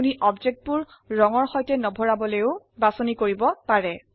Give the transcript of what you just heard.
আপনি বস্তুবোৰ ৰঙৰ সৈতে নভৰাবলৈও বাছনি কৰিব পাৰে